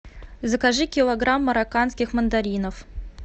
закажи килограмм марокканских мандаринов